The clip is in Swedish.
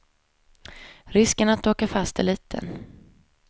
Risken att åka fast är liten.